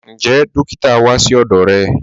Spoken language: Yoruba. Ǹjẹ́ dòkìtà wá sí ọdọ́ rẹ?